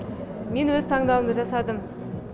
мен өз таңдауымды жасадым